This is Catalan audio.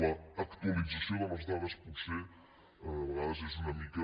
l’actualització de les dades potser de vegades és una mica